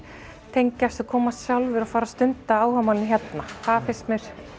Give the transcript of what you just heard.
tengjast og koma sjálfir og fara að stunda áhugamálin hérna það finnst mér